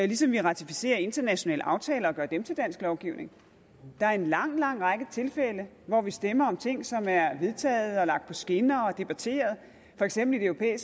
ligesom vi ratificerer internationale aftaler og gør dem til dansk lovgivning der er en lang lang række tilfælde hvor vi stemmer om ting som er vedtaget og lagt på skinner og debatteret for eksempel i europa